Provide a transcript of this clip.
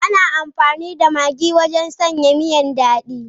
Ana amfani da Maggi wajen sanya miya dadi.